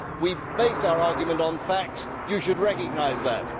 We base our argument on facts. You should recognise that.